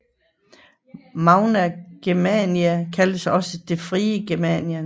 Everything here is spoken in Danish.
Magna Germania kaldtes også det frie Germanien